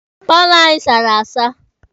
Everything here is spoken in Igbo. Paalọ anyị sara asa.